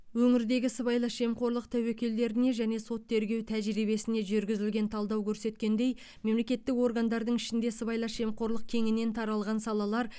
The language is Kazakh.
өңірдегі сыбайлас жемқорлық тәуекелдеріне және сот тергеу тәжірибесіне жүргізілген талдау көрсеткендей мемлекеттік органдардың ішінде сыбайлас жемқорлық кеңінен таралған салалар